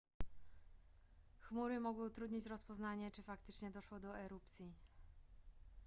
chmury mogły utrudnić rozpoznanie czy faktycznie doszło do erupcji